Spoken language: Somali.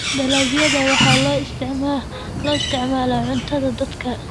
Dalagyada waxaa loo isticmaalaa cuntada dadka.